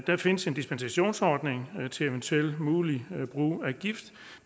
der findes en dispensationsordning til eventuelt mulig brug af gift